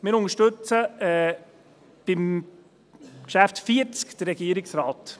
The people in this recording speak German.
Wir unterstützen bei Geschäft 40 den Regierungsrat.